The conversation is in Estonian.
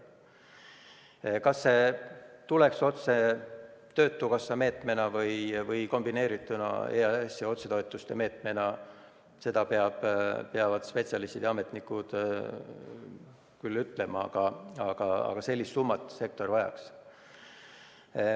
Seda, kas see tuleks töötukassa meetmena või kombineerituna EAS-i otsetoetuste meetmega, peavad spetsialistid ja ametnikud ise ütlema, aga sellist summat see sektor vajab.